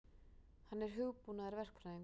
Hann er hugbúnaðarverkfræðingur.